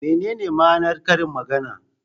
Menene ma'anar karin magana?